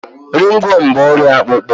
Ringworm bụ ọrịa akpụkpọ